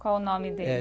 Qual o nome dele?